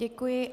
Děkuji.